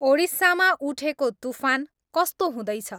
ओडिस्सामा उठेको तूफान कस्तो हुँदैछ